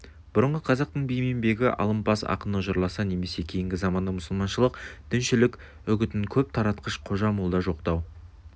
бұрынғы қазақтың би мен бегі алымпаз ақыны жырласа немесе кейінгі заманда мұсылманшылық діншілік үгітін көп таратқыш қожа-молда жоқтау